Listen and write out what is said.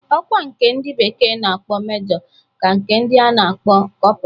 Ọkwa nke ndị bekee na-akpọ Mejọ kaa nke a na-akpọ kọpra